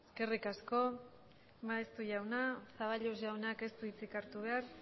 eskerrik asko maeztu jauna zaballos jaunak ez du hitzik hartu behar